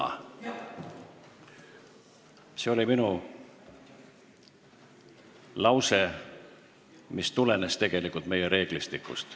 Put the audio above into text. Aga see oli minu lause, mis tulenes tegelikult meie reeglistikust.